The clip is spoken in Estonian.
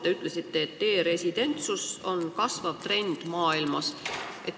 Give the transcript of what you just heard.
Te ütlesite, et e-residentsus on kasvav trend maailmas.